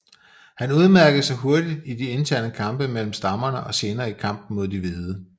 Han udmærkede sig hurtigt i de interne kampe mellem stammerne og senere i kampene mod de hvide